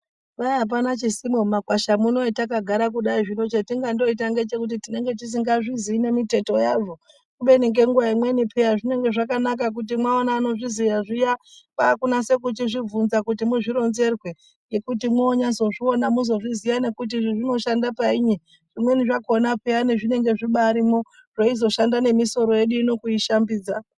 Kwai apana chisimo mumakwasha muno etakagara muno kudai zvino chetingandoita ngechekuti tinenge tisingazviziyi nemiteto yazvo kubeni ngenguwa imweni peya zvinenge zvakanaka kuti mwaona anozviziya zviya kwakunase kuchizvibvunza kuti muzvironzerwe ngekuti mwonyazozviona muzvozviziya nekuti izvi zvinoshande painyi zvimweni zvakona peyani zvinenge zvibarimwo zveizoshanda nemisoro yedu ino kuishambidza.